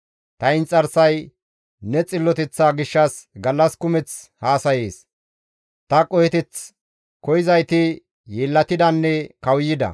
Ta inxarsay ne xilloteththa gishshas gallas kumeth haasayees; ta qoheteth koyzayti yeellatidanne kawuyida.